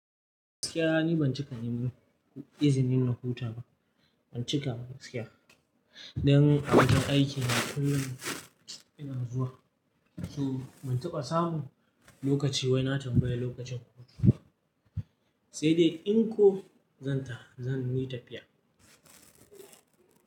Gaskiya ni ban cika yin izinin na huta ba, ban cika ba gaskiya. Dan abun aiki yana kullum yana zuwa. So ban taɓa samu lokaci wai na tambaya lokacin hutu, sai dai in ko zan ta zan yi tafiya.